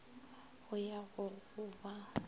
go ya go go ba